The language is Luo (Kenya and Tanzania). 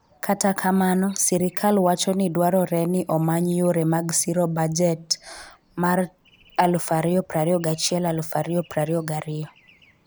Kata kamano, sirkal wacho ni dwarore ni omany yore mag siro bajet mar 2021-2022.